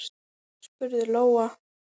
spurði Lóa.